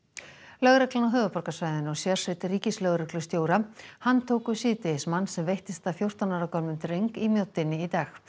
lögreglan á höfuðborgarsvæðinu og sérsveit ríkislögreglustjóra handtóku í dag mann sem veittist að fjórtán ára gömlum dreng í Mjóddinni í dag